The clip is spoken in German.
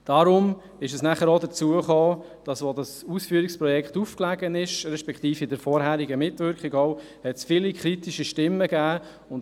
Deshalb hat es auch viele kritische Stimmen gegeben, als dieses Ausführungsprojekt auflag, beziehungsweise schon während der vorangehenden Mitwirkung.